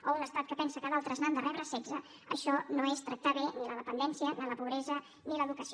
o un estat que pensa que d’altres n’han de rebre setze això no és tractar bé ni la dependència ni la pobresa ni l’educació